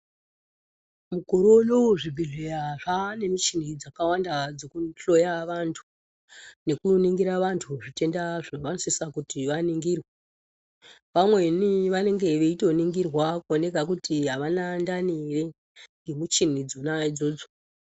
Mukore unowu zvibhedhleya zvizhinji zvaane muchini dzakawanda dzekuhloya vantu, nekuningira vantu zvitenda zvavanosisa kuti vaningirwe. Vamweni vanenge veitoningirwa kuoneka kuti avana ndani ere, ngemuchini dzona idzodzo.